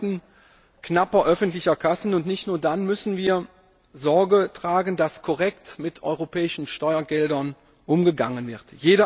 In Zeiten knapper öffentlicher Kassen, und nicht nur dann, müssen wir dafür Sorge tragen, dass korrekt mit europäischen Steuergeldern umgegangen wird.